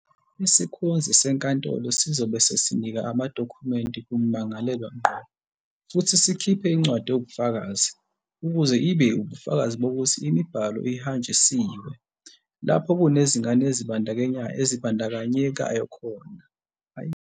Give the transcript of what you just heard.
"Isikhonzi senkantolo sizobe sesinika amadokhumenti kummangalelwa ngqo futhi sikhiphe incwadi ewubufakazi, ukuze ibe ubufakazi bokuthi imibhalo ihanjisiwe. Lapho kunezingane ezibandakanyekayo, kumele kwaziswe iHhovisi loMmeli Wezemindeni," kubalula uPeta.